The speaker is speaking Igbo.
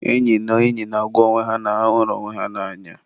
enyi na enyi na-agwa onwe ha na ha hụrụ onwe ha n'anya.